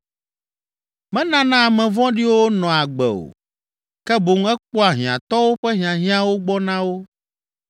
Menana ame vɔ̃ɖiwo nɔa agbe o, ke boŋ ekpɔa hiãtɔwo ƒe hiahiãwo gbɔ na wo.